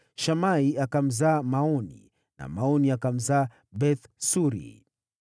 Shamai akamzaa Maoni na Maoni akamzaa Beth-Suri.